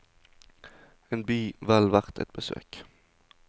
En by vel verdt et besøk.